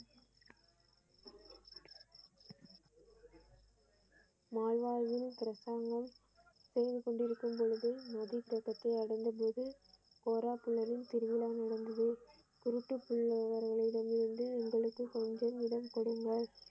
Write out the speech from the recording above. Mall வாழ்வில் பிரச்சாங்கம செய்து கொண்டிருக்கும் பொழுது நிதி கரையை அடைந்த பொழுது கோலாக்கலமா திருவிழா நடந்தது இருட்டுக்குள் வருபவர்களிடமிருந்து எங்களுக்கு கொஞ்சம் இடம் கொடுங்கள்.